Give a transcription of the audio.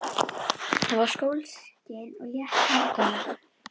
Það var sólskin og létt hafgola.